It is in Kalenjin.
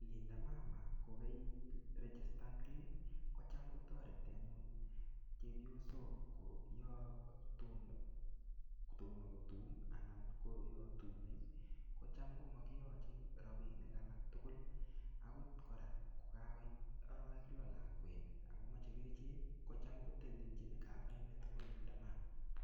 Linda mama kokairegistangei kocham kotoreti anyun chepyosok kotamo kotum ana kokakotum kocham ko mokiochei chepkondok alak tugul. Akot kora kokakoit aroik loo lakwet kocham kotelelchin kavainitok bo linda mama.